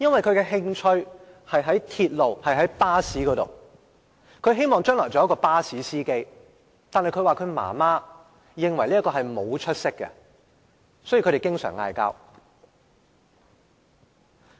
他的興趣是在鐵路和巴士方面，希望將來能成為巴士司機，但他說媽媽認為這是沒出息的工作，所以他們經常爭吵。